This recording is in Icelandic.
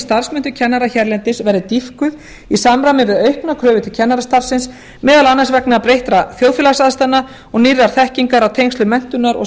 starfsmenntun kennara hérlendis verði dýpkuð í samræmi við aukna kröfu til kennarastarfsins meðal annars vegna breyttra þjóðfélagsaðstæðna og nýrrar þekkingar á tengslum menntunar og